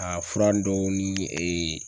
Ka fura dɔw ni